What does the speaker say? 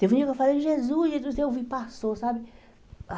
Teve dia que eu falei, Jesus, Jesus eu vi, passou, sabe?